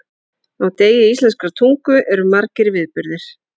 Á degi íslenskrar tungu eru margir viðburðir.